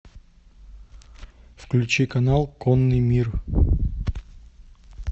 включи канал конный мир